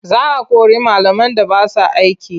Za a kori malaman da ba sa aiki.